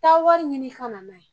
Taa wari ɲini i ka na n'a ye